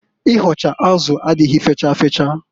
Ịhọcha azụ adịghị fecha fecha.